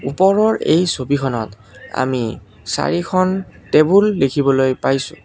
ওপৰৰ এই ছবিখনত আমি চাৰিখন টেবুল দেখিবলৈ পাইছোঁ।